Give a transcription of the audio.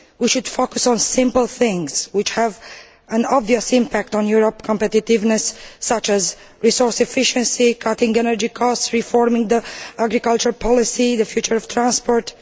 We should focus on simple things which have an obvious impact on Europe's competitiveness, such as resource efficiency, cutting energy costs, reforming the agriculture policy, and the future of transport.